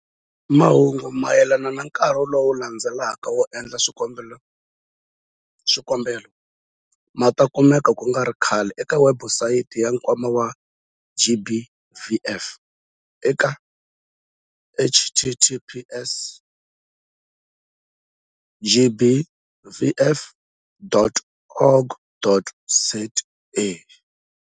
Mahungu mayelana na nkarhi lowu landzelaka wo endla swikombelo ma ta kumeka ku nga ri khale eka webusayiti ya Nkwama wa GBVF eka- https- gbvf.org.za-.